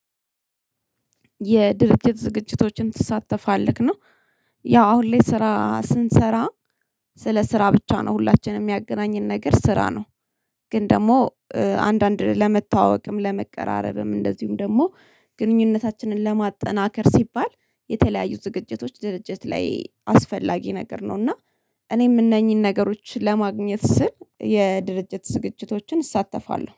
የድርጅት ዝግጅቶችን ትሳተፋለህ ነው። ያው አሁን ላይ ስራ ስንሰራ ስለ ስራ ብቻ ነው ሁላችንም ሚያገናኝን ነገር ስራ ነው። ግን ደግሞ አንዳንድ ለመተዋወቅም ለመቀራረብም እንደዚሁም ደግሞ ግንኙነታችንን ለማጠናከር ሲባል የተለያዩ ዝግጅቶች ድርጅት ላይ አስፈላጊ ነገር ነው። እና እኔም እነኚህን ነገሮች ለማግኘት ስር የድርጅት ዝግጅቶችን እሳተፋለሁ